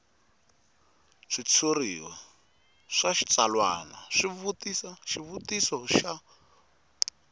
switshuriwa swa switsalwana xivutiso xa